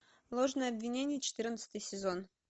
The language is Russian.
ложное обвинение четырнадцатый сезон